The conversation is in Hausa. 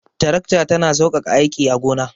Tarakta ta na saukaka aiki a gona